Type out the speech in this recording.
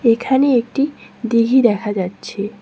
এখানে একটি দিঘী দেখা যাচ্ছে।